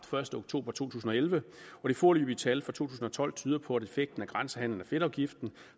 første oktober to tusind og elleve og det foreløbige tal for to tusind og tolv tyder på at effekten af grænsehandelen fedtafgiften